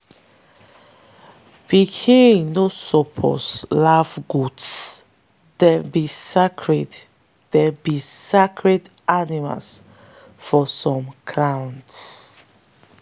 pikin no suppose laugh goats - them be sacred them be sacred animals for some clans.